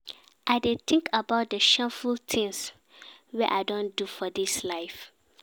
I dey tink about di shameful tins wey I don do for dis life.